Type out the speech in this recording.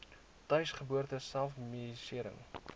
tuisgeboorte self medisering